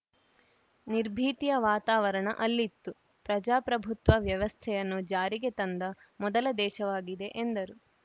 ನಿರ್ಭೀತಿಯ ವಾತಾವರಣ ಅಲ್ಲಿತ್ತು ಪ್ರಜಾಪ್ರಭುತ್ವ ವ್ಯವಸ್ಥೆಯನ್ನು ಜಾರಿಗೆ ತಂದ ಮೊದಲ ದೇಶವಾಗಿದೆ ಎಂದರು